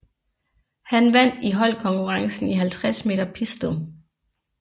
Han vandt i holdkonkurrencen i 50 m pistol